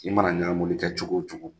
I mana ɲaamuni kɛ cogo o cogo